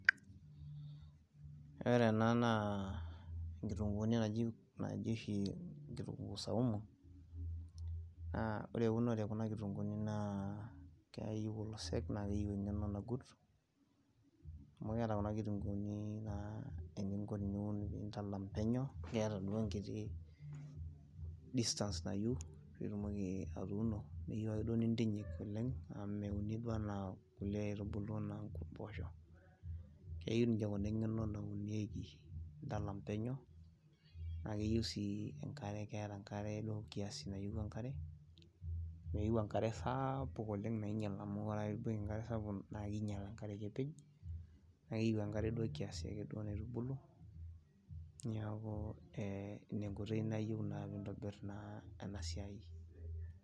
Ore ena naa kituguuni oshi naji, naji ktunguu saumu naa ore eunore ekuna kitunguuni naa keyieu olosek , keyieu engeno nagut, amu keeta kuna kituguuni naa eninko teniun ,nintalam penyo kiata duo enkiti, enkiti distance nayieu pitumoki atuuno , mifaa ake duo nintinyik oleng amu meuni duo anaa kulie aitubulu anaa mpoosho, keyieu niche kuna engeno naunieki , nintalam peno naa keyieu sii enkare, keeta enkare keeta kiasi nayieu enkare , meyieu enkare saapuk oleng amu ore ake piipik enkare sapuk naa kinyial enkare kepej naa keyieu enkare kiasi ake duo naitubulu, niaku ee ine enkoitoi naa pitobir naa ena siai.